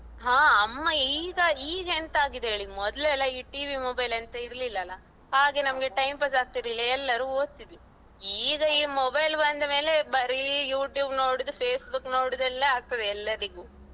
ಅಹ್ ಅಮ್ಮ ಈಗ ಈಗೆಂತಾಗಿದೆ ಹೇಳಿ, ಮೊದ್ಲೆಲ್ಲಾ ಈ TV mobile ಎಂತ ಇರ್ಲಿಲ ಅಲ್ಲ ಹಾಗೆ ನಮ್ಗೆ time pass ಆಗ್ತಿರ್ಲಿಲ್ಲ ಎಲ್ಲರು ಓದ್ತಿದ್ವಿ. ಈಗ ಈ mobile ಬಂದ ಮೇಲೆ ಬರಿ YouTube ನೋಡುದು Facebook ನೋಡುದು ಎಲ್ಲ ಆಗ್ತದೆ ಎಲ್ಲರಿಗೂ,